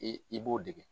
I i b'o dege